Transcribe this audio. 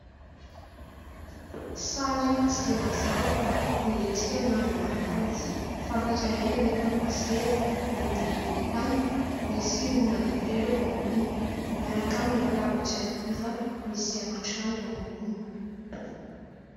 Sary tsy dia mazava fa nihetsika ny nangalana azy, fantatra ihany anefa fa seza miloko volontany, misy ondana telo eo amboniny miaraka amin'ny latabatra hiva misy haingon-trano eo amboniny.